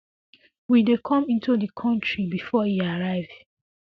we dey come into di kontri bifor e arrive